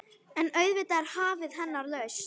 En auðvitað er hafið hennar lausn.